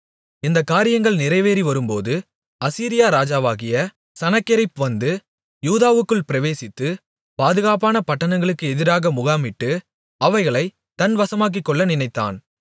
இந்தக்காரியங்கள் நிறைவேறிவரும்போது அசீரியா ராஜாவாகிய சனகெரிப் வந்து யூதாவுக்குள் பிரவேசித்து பாதுகாப்பான பட்டணங்களுக்கு எதிராக முகாமிட்டு அவைகளைத் தன் வசமாக்கிக்கொள்ள நினைத்தான்